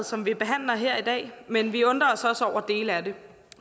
som vi behandler her i dag men vi undrer os også over dele af det